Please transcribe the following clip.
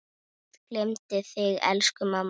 Guð geymi þig, elsku mamma.